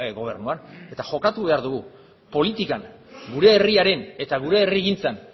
gobernuan eta jokatu behar dugu politikan gure herriaren eta gure herrigintzan